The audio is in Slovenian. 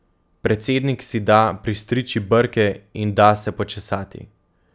Predsednik si da pristriči brke in da se počesati.